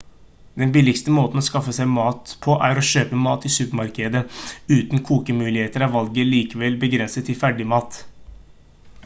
den billigste måten å skaffe seg mat på er å kjøpe mat i supermarkeder uten kokemuligheter er valget likevel begrenset til ferdigmat